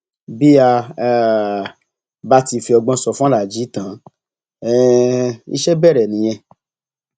bí a um bá ti fi ọgbọn sọ fún aláàjì tan um iṣẹ bẹrẹ nìyẹn